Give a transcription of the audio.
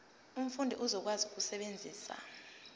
umfundi uzokwazi ukusebenzisa